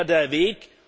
Das wäre der Weg.